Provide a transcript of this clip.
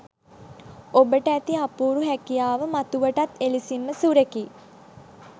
ඔබට ඇති අපූරු හැකියාව මතුවටත් එලෙසින්ම සුරැකී